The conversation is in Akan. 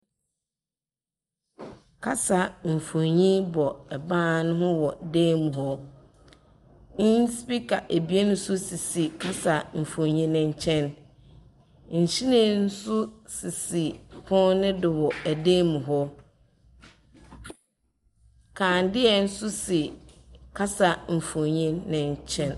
Kasamfonin bɔ ban ho wɔ dan mu hɔ. Nspiika ebien nso sisi kasamfonin no nkyɛn. Nhwiren nso sisi pono no do wɔ san mu hɔ. Kanea nso si kasamfonin no nkyɛn.